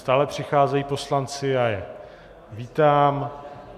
Stále přicházejí poslanci, já je vítám.